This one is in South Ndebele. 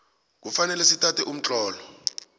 kufanele sithathe umtlolo